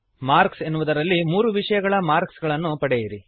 marks ಎನ್ನುವುದರಲ್ಲಿ ಮೂರು ವಿಷಯಗಳ ಮಾರ್ಕ್ಸ್ ಗಳನ್ನು ಪಡೆಯಿರಿ